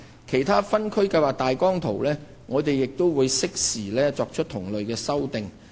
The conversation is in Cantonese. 其他分區計劃大綱圖，我們亦會適時作出同類修訂。